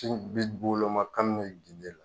Siw bi woloma kabi ginte la